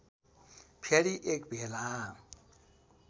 फेरि एक भेला